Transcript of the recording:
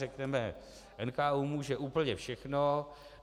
Řekneme - NKÚ může úplně všechno.